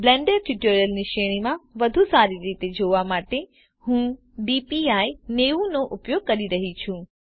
Blender ટ્યુટોરિયલ્સની શ્રેણીમાં વધુ સારી રીતે જોવા માટે હું DPI90 નો ઉપયોગ કરી રહી છુ